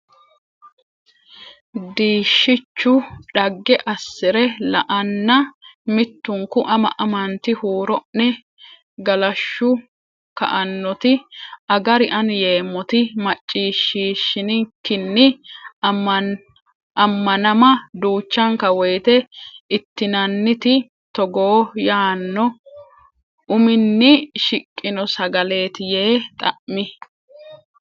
Diishshichu dhagge assi re la anna mittunku ama amanti huuro ne galashshu ka annoti Agari ani yeemmoti macciishshiishshinikinni ammanama duuchanka woyte ittinanniti togoo yaanno uminni shiqqino sagaleeti yee xa mi.